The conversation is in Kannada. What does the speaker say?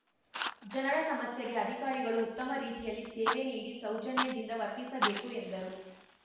ಜನರ ಸಮಸ್ಯೆಗೆ ಅಧಿಕಾರಿಗಳು ಉತ್ತಮ ರೀತಿಯಲ್ಲಿ ಸೇವೆ ನೀಡಿ ಸೌಜನ್ಯದಿಂದ ವರ್ತಿಸಬೇಕು ಎಂದರು